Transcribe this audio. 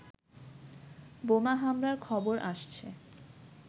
বোমা হামলার খবর আসছে